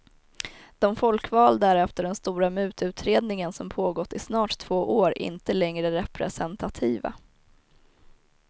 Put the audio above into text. De folkvalda är efter den stora mututredningen som pågått i snart två år inte längre representativa.